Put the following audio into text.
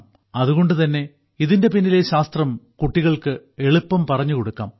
അതുകൊണ്ട് തന്നെ ഇതിന്റെ പിന്നിലെ ശാസ്ത്രം കുട്ടികൾക്ക് എളുപ്പം പറഞ്ഞു കൊടുക്കാം